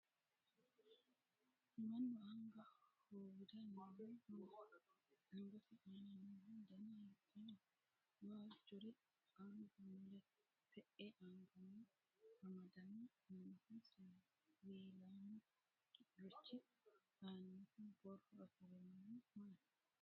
Mannu anga hoowira noohu maati? Angate aana noohu dana hiittooho? Waajjore anga mule te'e anganni amadame noohu siwiilaamurichi aanaho borro afirinohu maati?